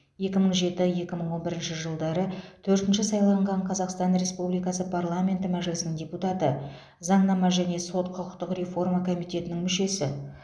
екі мың жеті екі мың он бірінші жылдары төртінші сайланған қазақстан республикасы парламенті мәжілісінің депутаты заңнама және сот құқықтық реформа комитетінің мүшесі